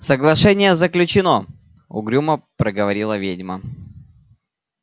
соглашение заключено угрюмо проговорила ведьма